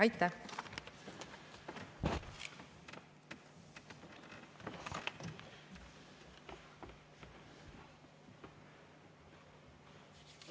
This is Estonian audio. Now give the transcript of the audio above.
Aitäh!